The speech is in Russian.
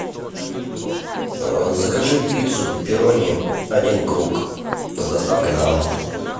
закажи пиццу пепперони один круг с доставкой на дом